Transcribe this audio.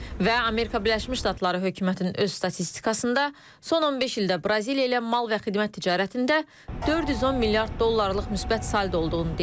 Və Amerika Birləşmiş Ştatları hökumətinin öz statistikasında son 15 ildə Braziliya ilə mal və xidmət ticarətində 410 milyard dollarlıq müsbət saldo olduğunu deyib.